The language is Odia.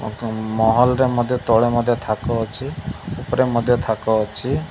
ତାଙ୍କ ମହଲରେ ମଧ୍ୟ ତଳେ ମଧ୍ୟ ଥାକ ଅଛି ଉପରେ ମଧ୍ୟ ଥାକ ଅଛି।